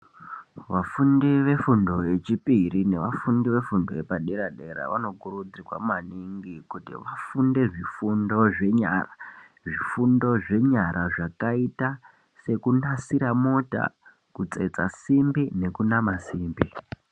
Vafundi vefundo yechipiri nevafundi vefundo yepadera-dera vanokuridzirwa maningi kuti vafunde zvifundo zvenyara. Zvifundo zvenyara zvakaita sekunasira mota, kutsetsa simbi nekunama simbi.